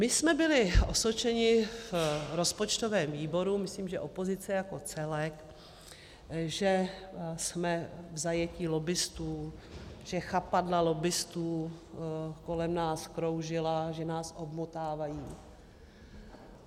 My jsme byli osočeni v rozpočtovém výboru, myslím, že opozice jako celek, že jsme v zajetí lobbistů, že chapadla lobbistů kolem nás kroužila, že nás omotávají.